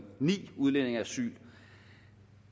ni udlændinge asyl